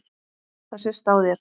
Það sést á þér